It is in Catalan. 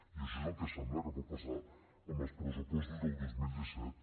i això és el que sembla que pot passar amb els pressupostos del dos mil disset